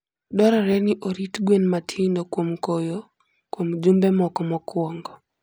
Dwarore ni orit gwen matindo kuom koyo kuom jumbe moko mokwongo.